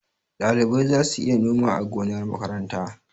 Ɗalibai za su iya noma a gonar makaranta.